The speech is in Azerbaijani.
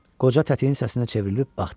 Qoca tətiyin səsinə çevrilib baxdı.